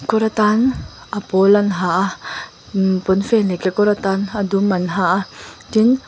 kawr atan a pawl an ha a pawnfen leh kekawr atan a dum an ha a tin.